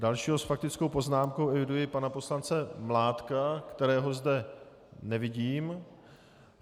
Dalšího s faktickou poznámkou eviduji pana poslance Mládka, kterého zde nevidím.